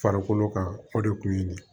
Farikolo kan o de kun ye nin ye